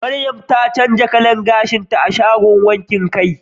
Mariam ta canza kalan gashinta a shagon wankin kai